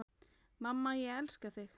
Mamma, ég elska þig.